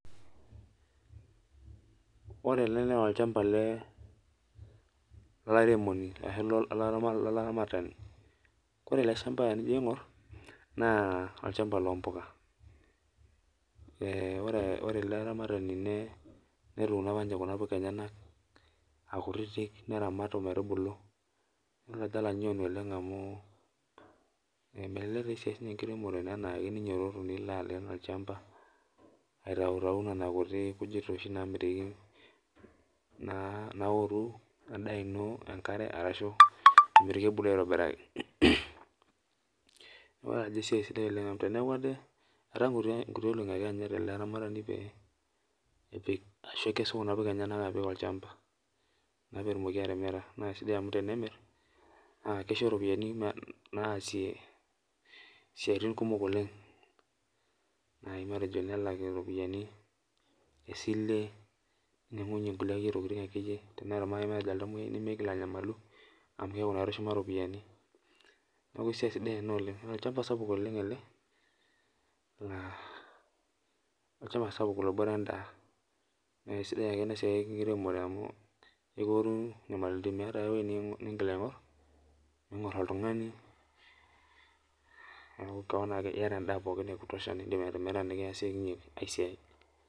Ore ele naolchamba lolaremoni eshula enolaramatani koree eleshamba tenijo aingur na olchamba lompuka ore olaramatani tene netuuno apa ninye kunapuka enyenak. aakutik neramat ometubulu, kelio ajo alanyuani oleng amu melelek esiai enkiremore anaake ninyototo nilobaleen olchamba, aitautau nonakujit namitiki naoru endaa ino enkare ashu emitiki ebulu aitobiraki neaku ajo nanu esiai sidia amu teneoki ade amu ataa nkutii olongi ake eanyita elearamatani pekesu mpuka enyenyek apik olchamba petumoki atimira na kesidai amu tenemir na kisho ropiyani naasie siatin kumok oleng nai matejo nelakie ropiyani esile nitumia ake nkulie ropiyani teneata oltamoyiai nimitoki anyamalu amu keaku naa etushuma ropiyani neaku esiai sidai ena oleng, olchamba sapuk obore endaa na kesidai enasiai enkiremore amu ekiore nyamalitin ningor oltungani niakubiyata enda ekutosha nindim atimira niasie aai siai.